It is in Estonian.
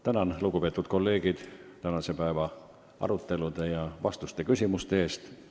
Tänan, lugupeetud kolleegid, tänase päeva arutelude ja küsimuste-vastuste eest!